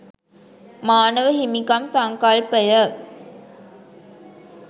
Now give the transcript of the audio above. මානව හිමිකම් සංකල්පය